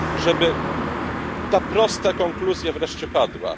żeby ta prosta konkluzja wreszcie padła?